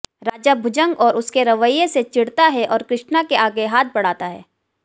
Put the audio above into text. राजा भुजंग और उसके रवैये से चिढ़ता है और कृष्णा के आगे हाथ बढ़ाता है